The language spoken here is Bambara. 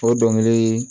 O dɔnkili